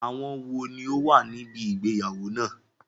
Àwọn wò ní ó wà níbi ìgbéyàwó náà?